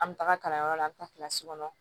An bɛ taga kalanyɔrɔ la an bɛ taa kɔnɔ